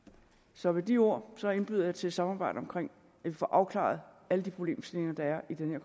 så med de ord indbyder jeg til samarbejde om at få afklaret alle de problemstillinger der er i den